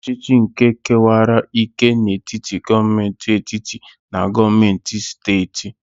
Fediralizm bụ usoro ọchịchị nke kewara ike n'etiti gọọmentị etiti na gọọmentị steeti.